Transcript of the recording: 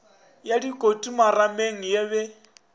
ya dikoti marameng ya be